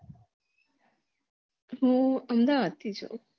હું અમદાવાદ થી છું